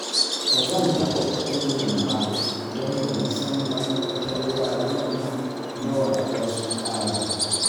Ba zan taɓa kuɗin nan ba, don ban san makarantar yaran nan nawa za su ƙara ba